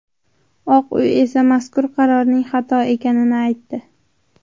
Oq uy esa mazkur qarorning xato ekanini aytdi.